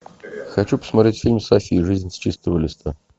хочу посмотреть фильм софи жизнь с чистого листа